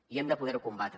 i hem de poder ho combatre